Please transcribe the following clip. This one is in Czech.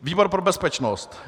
výbor pro bezpečnost: